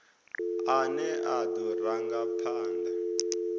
ane a do ranga phanda